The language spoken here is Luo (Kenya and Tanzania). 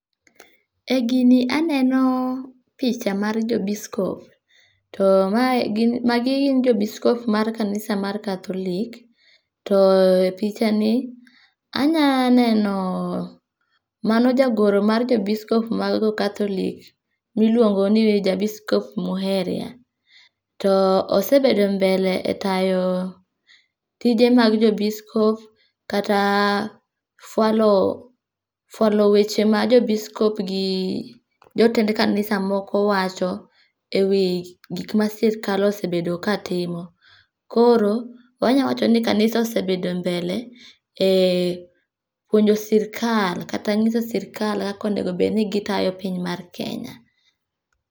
E gini aneno picha mar jo biscop to mae, magi gin jo biscop mar kanisa mar Catholic, to e pichani anya neno mano jagoro mar jo biscop mar catholic miluongo ni ja biscop Muheria to osebedo mbele e tayo tije mag jo biscop kata fualo fualo weche ma jo biscop gi jotend kanisa moko wacho e wi gikma sirkal osebedo ka timo. Koro wanyalo wacho ni kanisa osebedo mbele e puonjo sirkal kata nyiso sirkal kaka owinjo obed ni gitayo piny mar Kenya